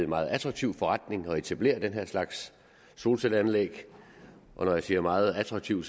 meget attraktiv forretning at etablere den her slags solcelleanlæg når jeg siger meget attraktiv